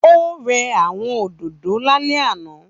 Ó rẹ́ àwọn òdòdó lálẹ́ àná.